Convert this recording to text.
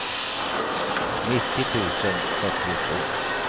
nittio tusen trettiotvå